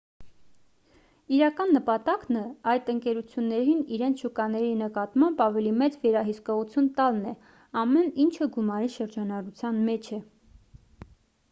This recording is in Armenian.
իրական նպատակն այդ ընկերություններին իրենց շուկաների նկատմամբ ավելի մեծ վերահսկողություն տալն է ամեն ինչը գումարի շրջանառության մեջ է